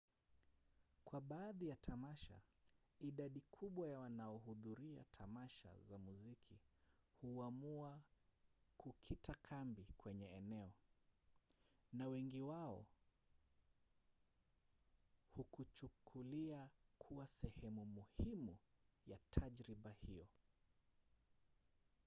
kwa baadhi ya tamasha idadi kubwa ya wanaohudhuria tamasha za muziki huamua kukita kambi kwenye eneo na wengi wao hukuchukulia kuwa sehemu muhimu ya tajriba hiyo